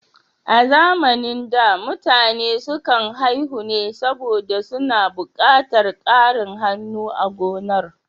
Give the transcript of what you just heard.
A zamanin da, mutane sukan haihu ne saboda suna buƙatar ƙarin hannu a gonar.